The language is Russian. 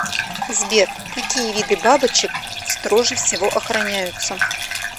сбер какие виды бабочек строже всего охраняются